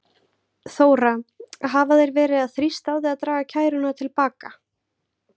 Þóra: Hafa þeir verið að þrýsta á þig að draga kæruna til baka?